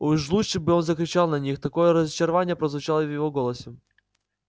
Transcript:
уж лучше бы он закричал на них такое разочарование прозвучало в его голосе